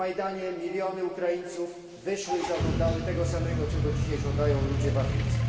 Na Majdanie miliony Ukraińców wyszły i zażądały tego samego, czego dzisiaj żądają ludzie w Afryce.